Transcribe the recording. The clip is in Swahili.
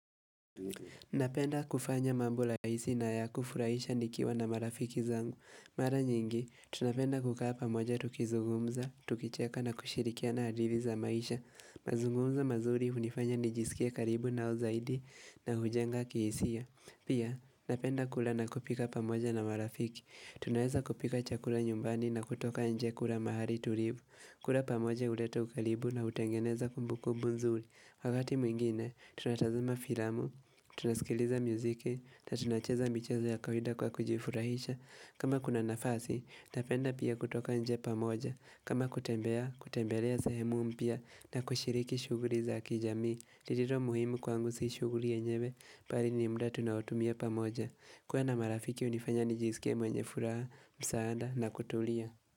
Napenda kufanya mambo la raisi na ya kufurahisha nikiwa na marafiki zangu Mara nyingi, tunapenda kukaa pamoja tukizungumza, tukicheka na kushirikiana hadili za maisha mazungumzo mazuri unifanya nijisikie karibu nao zaidi na hujenga kihisia Pia, napenda kula na kupika pamoja na marafiki Tunaweza kupika chakula nyumbani na kutoka nje kula mahali tulivu kula pamoja uleta ukalibu na utengeneza kumbukubu nzuri Wakati mwingine, tunatazama filamu, tunaskiliza muziki, na tunacheza michezo ya kawaida kwa kujifurahisha. Kama kuna nafasi, napenda pia kutoka nje pamoja. Kama kutembea, kutembelea sahemu mpya na kushiriki shuguri za kijami. Ririro muhimu kwangu si shuguri yenyewe, pari ni mda tunaoutumia pamoja. Kuwa na marafiki unifanya nijisikie mwenye furaha saanda na kutulia.